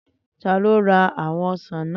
Tani o ra awọn osan naa?